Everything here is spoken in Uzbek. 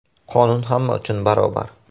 Qonun hamma uchun barobar.